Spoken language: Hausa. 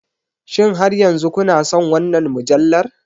Shin har yanzu kuna son wannan mujallar?